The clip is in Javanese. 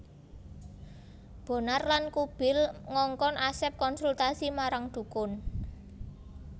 Bonar lan Kubil ngongkon Asep konsultasi marang dukun